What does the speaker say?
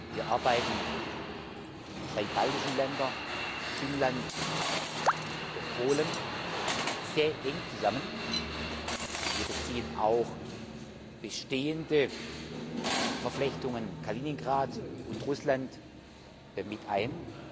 Wir arbeiten die drei baltischen Länder, Finnland und Polen sehr eng zusammen. Wir beziehen auch bestehende Verflechtungen Kaliningrad und Russland mit ein.